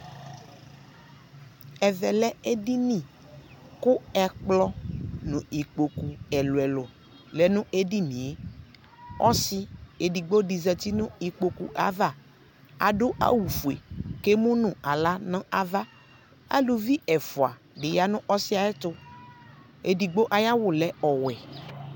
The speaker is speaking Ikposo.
ɛvɛ lɛ ɛdini kʋ ɛkplɔ nʋ ikpɔkʋ ɛlʋɛlʋ lɛnʋɛdiniɛ, ɔsii ɛdigbɔ di zati nʋ ikpɔkʋɛ aɣa, adʋ awʋ ƒʋɛ kʋ ɛmʋnʋ ala nʋ aɣa, alʋvi ɛƒʋa bi yanʋ ɔsiiɛ ayɛtʋ, ɛdigbɔ ayi awʋ lɛ ɔwɛ